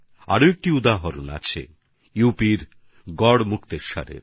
আরও একটি উদাহরণ হচ্ছেইউপির গড়মুক্তেশ্বরের